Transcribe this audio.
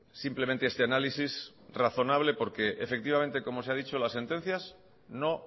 simplemente este análisis razonable porque efectivamente como se ha dicho las sentencias no